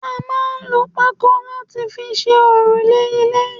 A máa ń lò pako láti fi ṣe òrùlé ilé